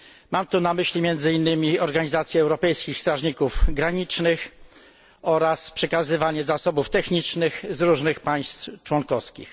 Mam tu na myśli między innymi organizację europejskich strażników granicznych oraz przekazywanie zasobów technicznych z różnych państw członkowskich.